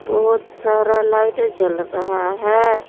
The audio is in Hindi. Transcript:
बहुत सारा लाइट जल रहा है।